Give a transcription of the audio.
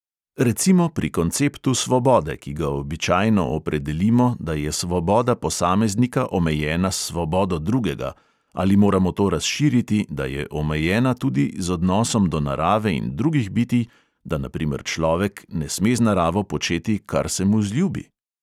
Recimo pri konceptu svobode, ki ga običajno opredelimo, da je svoboda posameznika omejena s svobodo drugega, ali moramo to razširiti, da je omejena tudi z odnosom do narave in drugih bitij, da na primer človek ne sme z naravo početi, kar se mu zljubi?